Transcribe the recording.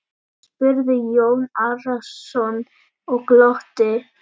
spurði Jón Arason og glotti.